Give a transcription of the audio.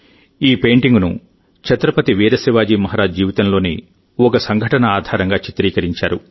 ఈ పెయింటింగ్ ను ఛత్రపతి వీర్ శివాజీ మహారాజ్ జీవితంలోని ఒక సంఘటన ఆధారంగా చిత్రించారు